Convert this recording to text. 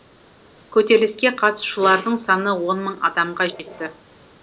көтеріліске қатысушылардың саны он мың адамға жетті